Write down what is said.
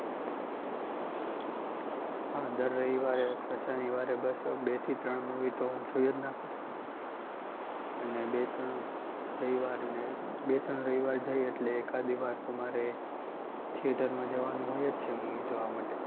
હા દર રવિવારે અથવા શનિવારે બસ બેથી ત્રણ movie હું જોઈ જ નાખું છું, અને બે ત્રણ રવિવારને, બે ત્રણ રવિવાર જાય એટલે એકાદી વાર તો મારે theatre માં જવાનું હોય જ છે movie જોવા માટે.